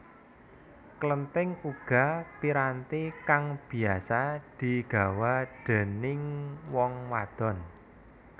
Klenthing uga piranti kang biasa digawa déningg wong wadon